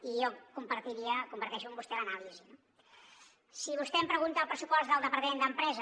i jo comparteixo amb vostè l’anàlisi no si vostè em pregunta el pressupost del departament d’empresa